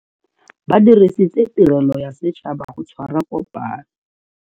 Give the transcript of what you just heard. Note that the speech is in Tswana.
Ba dirisitse tirelo ya setšhaba go tshwara kopano.